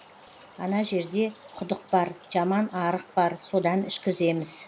ана жерде құдық бар жаман арық бар содан ішкіземіз